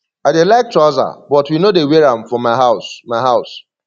i dey like trouser but we no dey wear am for my house my house